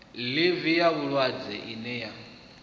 ḽivi ya vhulwadze ine ya